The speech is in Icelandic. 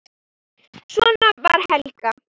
Svona var Helga.